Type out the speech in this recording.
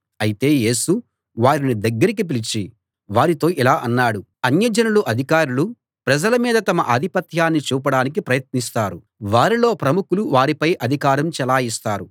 అయితే యేసు వారిని దగ్గరికి పిలిచి వారితో ఇలా అన్నాడు అన్యజనుల అధికారులు ప్రజల మీద తమ ఆధిపత్యాన్ని చూపడానికి ప్రయత్నిస్తారు వారిలో ప్రముఖులు వారిపై అధికారం చెలాయిస్తారు